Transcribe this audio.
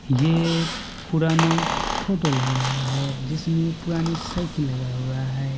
ये पुराना फोटो लग रहा है जिसमे पुरानी साइकिल लगा हुआ है।